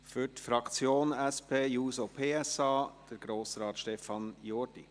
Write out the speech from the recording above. Für die SP-JUSO-PSA-Fraktion hat Grossrat Jordi das Wort.